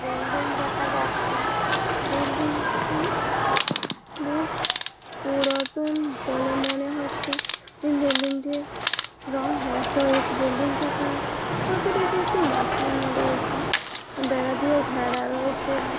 Building দেখা যাচ্ছে । Building -টি বেশ-শ পুরাতন বলে মনে হচ্ছে। এই বিল্ডিং টির রং নষ্ট হয়ে গেছে। বিল্ডিং -টিতে ছোট দেখে একটি রয়েছে বেড়া দিয়ে ঘেরা রয়েছে ।